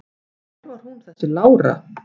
Hver var hún þessi Lára?